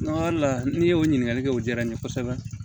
la n'i y'o ɲininkali kɛ o jara n ye kosɛbɛ